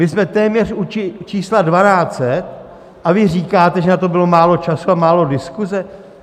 My jsme téměř u čísla 1200, a vy říkáte, že na to bylo málo času a málo diskuze?